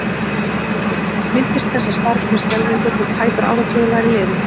Hann minntist þessa starfs með skelfingu þótt tæpur áratugur væri liðinn.